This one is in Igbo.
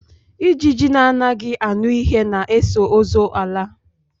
Ijiji na anaghị aṅụ ihe na eso ọzọ ala